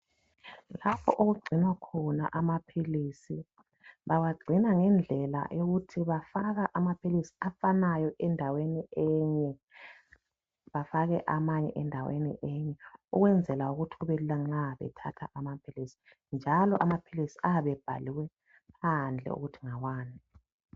Lapho okugcinwa khona amaphilisi. Bawagcina ngendlela yokuthi bafaka amaphilisi afanayo endaweni enye bafake amanye endaweni enye ukwenzela ukuthi kubelula nxa uthatha amaphilisi njalo amaphilisi ayabe ebhaliwe phandle ukuthi ngawani.